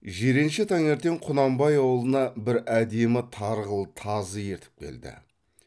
жиренше таңертең құнанбай ауылына бір әдемі тарғыл тазы ертіп келді